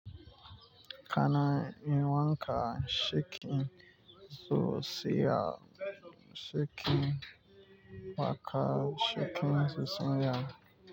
Kana yi wanka shekin zuciya shekin waka shekin zuciya.